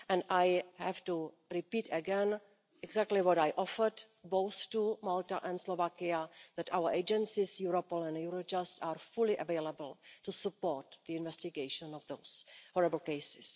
I have to repeat again exactly what I offered both to Malta and Slovakia, that our agencies Europol and Eurojust are fully available to support the investigation into those horrible case.